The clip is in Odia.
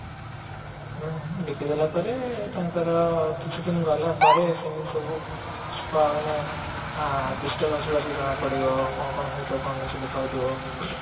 ବିକି ଦେବା ପରେ ତାଙ୍କର କିଛି ଦିନ ଗଲା ପରେ କେମିତି ସବୁ ମାନେ disturbance ଗୁଡା ଜଣା ପଡିବ କଣ କଣ ହଉଥିବ କଣ ନା ହିଁ ସବୁ ଦେଖା ଯାଉଥିବ